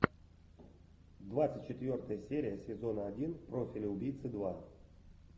двадцать четвертая серия сезона один профиль убийцы два